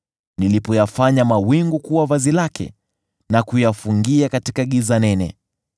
nilipoyafanya mawingu kuwa vazi lake, na kuyafungia katika giza nene,